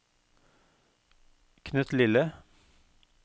knøttlille